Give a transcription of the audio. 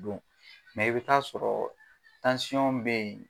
Dɔnku mɛ i bɛ t'a sɔrɔ tansɔn bɛ yen.